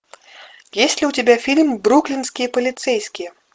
есть ли у тебя фильм бруклинские полицейские